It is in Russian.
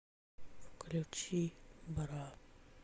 включи бра